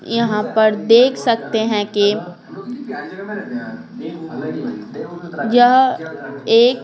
यहां पर देख सकते हैं कि यह एक--